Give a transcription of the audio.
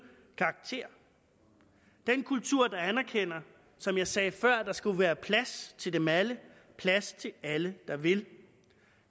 karakter den kultur der anerkender som jeg sagde før at der skal være plads til dem alle plads til alle der vil